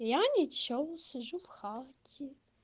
я ничего сижу в хате